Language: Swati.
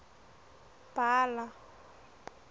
bhala